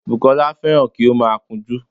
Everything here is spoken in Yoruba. Bùkọ́lá fẹ́ràn kí ó má a kun ojú